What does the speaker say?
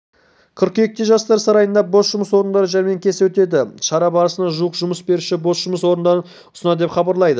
қыркүйекте жастар сарайында бос жұмыс орындары жәрмеңкесі өтеді шара барысында жуық жұмыс беруші бос жұмыс орындарын ұсынады деп хабарлайды